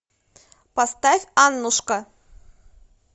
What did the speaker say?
поставь аннушка